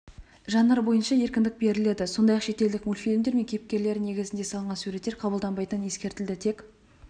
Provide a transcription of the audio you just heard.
жанр бойынша еркіндік беріледі сондай-ақ шетелдік мультфильмдер мен кейіпкерлері негізінде салынған суреттер қабылданбайтыны ескертілді тек